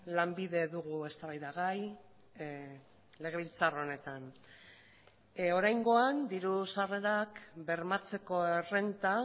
lanbide dugu eztabaida gai legebiltzar honetan oraingoan diru sarrerak bermatzeko errenta